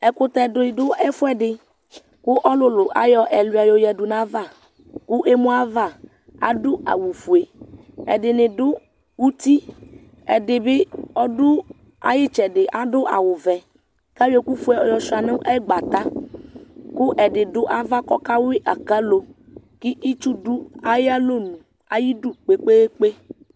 ɛkutɛ di do ɛfuɛdi kò ɔlòlò ayɔ ɛluia yɔ yadu n'ava kò emu ava ado awu fue ɛdini do uti ɛdi bi ɔdo ay'itsɛdi ado awu vɛ k'ayɔ ɛkò fue yɔsua no agbatɛ kò ɛdi do ava kò ɔka wi akalo k'itsu do ayi alɔnu ayidu kpekpekpe